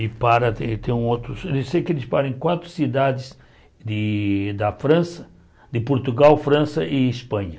E para, tem tem outros... Eu sei que eles param em quatro cidades de da França, de Portugal, França e Espanha.